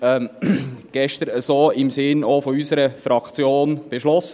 Dies wurde gestern auch im Sinne unserer Fraktion so beschlossen.